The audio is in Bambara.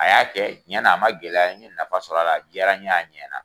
A y'a kɛ cɛnna a ma gɛlɛya ye, n ɲe nafa sɔrɔ la, a di yara n ye a ɲɛna